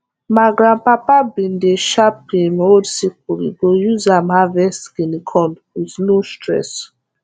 ma grandpapa been dey sharp him old sickle e go use am harvest guinea corn with no stress